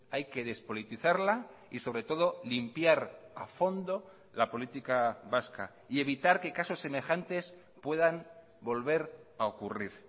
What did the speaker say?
hay que despolitizarla y sobre todo limpiar a fondo la política vasca y evitar que casos semejantes puedan volver a ocurrir